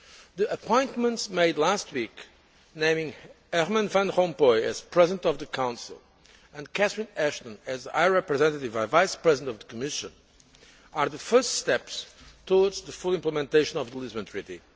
The appointments made last week, naming Herman Van Rompuy as President of the Council and Catherine Ashton as High Representative and Vice President of the Commission, are the first steps towards the full implementation of the Lisbon Treaty.